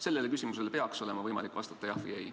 Sellele küsimusele peaks olema võimalik vastata jah või ei.